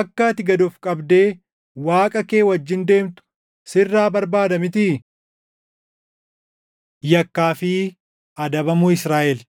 akka ati gad of qabdee Waaqa kee wajjin deemtu // sirraa barbaada mitii? Yakkaa fi Adabamuu Israaʼel